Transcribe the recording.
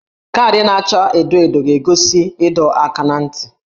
Kaadị na-acha edo edo ga-egosi ịdọ aka ná ntị